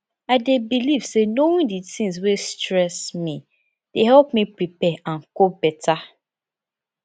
i dey believe say knowing di tings wey stress me dey help me prepare and cope beta